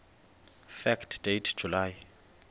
fact date july